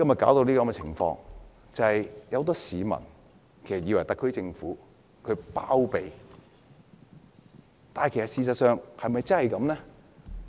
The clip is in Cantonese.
就是因為有很多市民以為特區政府在包庇犯法者，但事實是否真的如此？